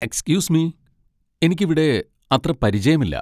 Excuse me, എനിക്കിവിടെ അത്ര പരിചയമില്ല.